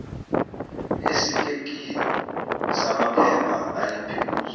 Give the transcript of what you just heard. esitakini samaphepha ayephezu